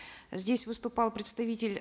здесь выступал представитель